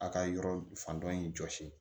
A ka yɔrɔ fan dɔ in jɔsi